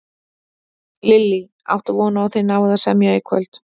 Lillý: Áttu von á að þið náið að semja í kvöld?